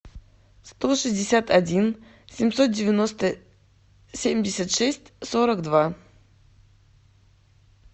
сто шестьдесят один семьсот девяносто семьдесят шесть сорок два